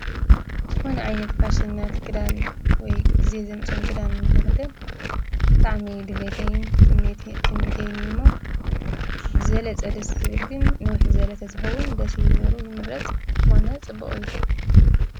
ዝኾነ ዓይነት ፋሽናት ክዳን ወይ ግዜ ዘምፅኦም ክዳን ንኽክደን ብጣዕሚ እዩ ድሌተይን ትምኒተይን እዩ እሞ ብዝበለፀ ደስ ዝብል ግን ንውሕ ዝበለ ተዝኾን ደስ ይብል ኔሩ ይምረፅ ብዝኾነ ፅቡቅ እዩ።